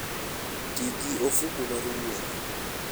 Ti gi ofuko mar wuoth.